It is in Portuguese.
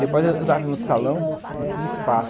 Depois eu estava em outro salão e tinha espaço.